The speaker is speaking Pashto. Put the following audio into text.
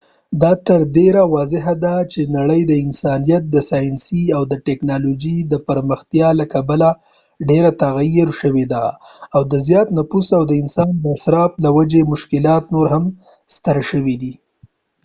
دا تر ډیره واضح ده چې نړۍ د انسانیت د ساینسي او تکنالوژۍ د پرمختیا له کبله ډیره تغیر شوې او د زیات نفوس او د انسان د اصراف له وجې مشکلات نور هم ستر شوي